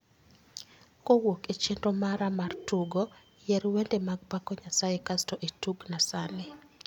Kowuok e chenro mara mar tugo, yier wende mag pako Nyasaye kasto nitugna sani